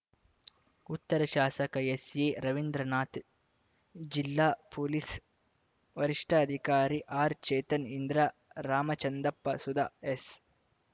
ಉತ್ತರ ಶಾಸಕ ಎಸ್‌ಎರವೀಂದ್ರನಾಥ್‌ ಜಿಲ್ಲಾ ಪೊಲೀಸ್‌ ವರಿಷ್ಠಾಧಿಕಾರಿ ಆರ್‌ಚೇತನ್‌ ಇಂದಿರಾ ರಾಮಚಂದ್ರಪ್ಪ ಸುಧಾ ಎಸ್